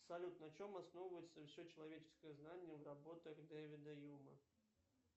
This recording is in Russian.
салют на чем основывается все человеческое знание в работах дэвида юма